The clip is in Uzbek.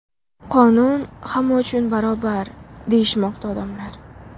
Qonun hamma uchun barobar, deyishmoqda odamlar.